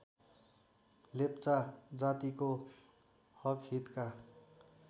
लेप्चा जातिको हकहितका